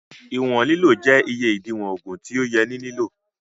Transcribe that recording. Ìwọn lílò jẹ́ iye ìdiwọ̀n ògùn tí ó yẹ ní lílò